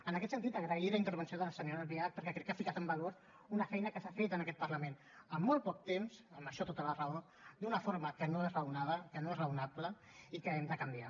en aquest sentit agrair la intervenció de la senyora albiach perquè crec que ha ficat en valor una feina que s’ha fet en aquest parlament amb molt poc temps amb això tota la raó d’una forma que no és raonada que no és raonable i que hem de canviar